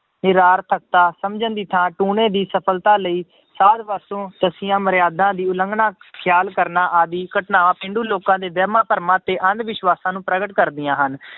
ਨਿਰਾਰਥਕਤਾ ਸਮਝਣ ਦੀ ਥਾਂ ਟੂਣੇ ਦੀ ਸਫ਼ਲਤਾ ਲਈ ਸਾਧ ਪਾਸੋਂ ਦੱਸੀਆਂ ਮੁਰਿਆਦਾਂ ਦੀ ਉਲੰਘਣਾ ਖਿਆਲ ਕਰਨਾ ਆਦਿ ਘਟਨਾਵਾਂ ਪੇਂਡੂ ਲੋਕਾਂ ਦੇ ਵਹਿਮਾਂ ਤੇ ਅੰਧ ਵਿਸ਼ਵਾਸ਼ਾਂ ਨੂੰ ਪ੍ਰਗਟ ਕਰਦੀਆਂ ਹਨ,